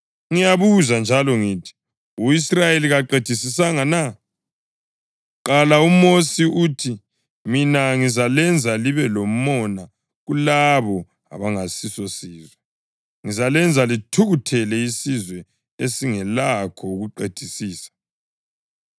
Ngiyabuza njalo ngithi: U-Israyeli kaqedisisanga na? Kuqala uMosi uthi, “Mina ngizalenza libe lomona kulabo abangasiso sizwe; ngizalenza lithukuthelele isizwe esingelakho ukuqedisisa.” + 10.19 UDutheronomi 32.21